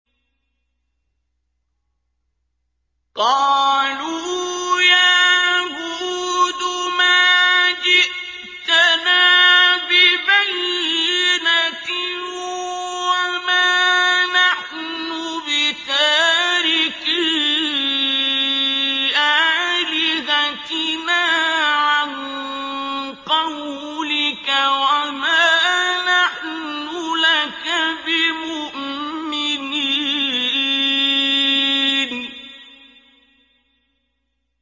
قَالُوا يَا هُودُ مَا جِئْتَنَا بِبَيِّنَةٍ وَمَا نَحْنُ بِتَارِكِي آلِهَتِنَا عَن قَوْلِكَ وَمَا نَحْنُ لَكَ بِمُؤْمِنِينَ